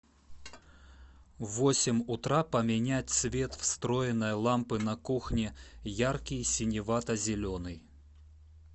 в восемь утра поменять цвет встроенной лампы на кухне яркий синевато зеленый